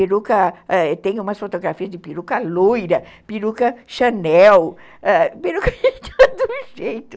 Eu tenho umas fotografias de peruca loira, peruca Chanel, ãh, peruca de todo jeito.